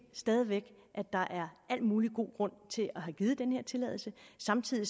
stadig væk at der er al mulig god grund til at have givet den her tilladelse samtidig